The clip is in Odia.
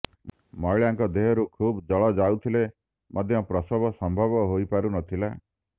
ମହିଳାଙ୍କ ଦେହରୁ ଖୁବ୍ ଜଳ ଯାଉଥିଲେ ମଧ୍ୟ ପ୍ରସବ ସମ୍ଭବ ହୋଇ ପାରୁନଥିଲା